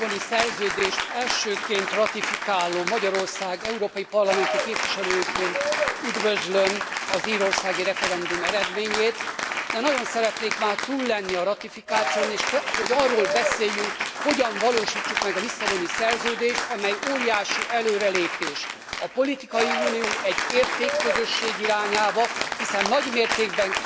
Tisztelt képviselőtársaim! A Lisszaboni Szerződést elsőként ratifikáló Magyarország európai parlamenti képviselőjeként üdvözlöm az írországi referendum eredményét, de nagyon szeretnék már túl lenni a ratifikáción, és hogy arról beszéljünk, hogyan valósítsuk meg a Lisszaboni Szerződést, amely óriási előrelépés a politikai unió, egy értékközösség irányába, hiszen nagy mértékben